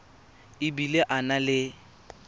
e bile a na le